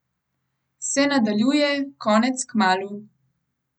Se nadaljuje, konec kmalu.